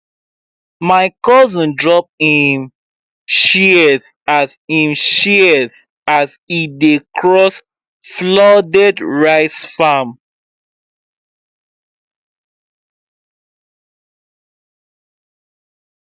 my cousin drop him shears as him shears as e dey cross flooded rice farm